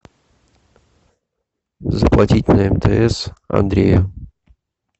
заплатить на мтс андрею